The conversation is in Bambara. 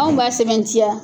Anw b'a sɛmɛntiya.